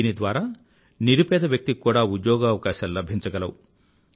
దీని ద్వారా నిరుపేద వ్యక్తి కి కూడా ఉద్యోగావకాశాలు లభించగలవు